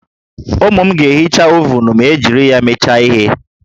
Ụmụ m ga-ehicha ovunu ma e jiri ya mecha ihe